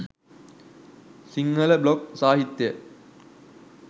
Sinhala blog සාහිත්‍යය